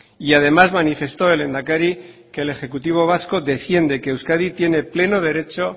y además manifestó el lehendakari que el ejecutivo vasco defiende que euskadi tiene pleno derecho